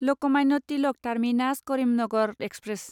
Lokmanya Tilak terminus Karimnagar express